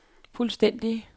fuldstændig